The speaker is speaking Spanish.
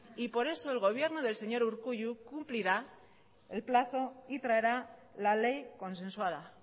y por eso el gobierno del señor urkullu cumplirá el plazo y traerá la ley consensuada